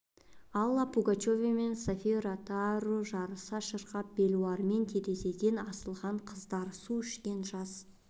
алла пугачева мен софия ротару жарыса шырқап белуарынан терезеден асылған қыздар су ішкен жас